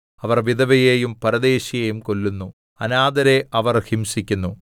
അവർ വിധവയെയും പരദേശിയെയും കൊല്ലുന്നു അനാഥരെ അവർ ഹിംസിക്കുന്നു